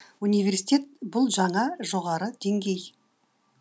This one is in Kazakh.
университет бұл жаңа жоғары деңгей